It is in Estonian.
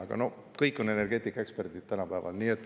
Aga kõik on energeetikaeksperdid tänapäeval.